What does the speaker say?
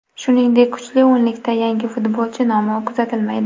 Shuningdek, kuchli o‘nlikda yangi futbolchi nomi kuzatilmaydi.